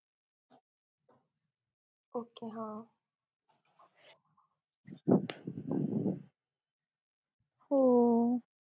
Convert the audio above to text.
ok हा